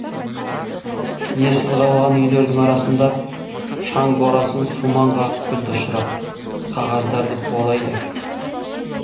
иесіз қалған үйлердің арасында шаң борасын сумаң қағып күлді ұшырап қағаздарды қуалайды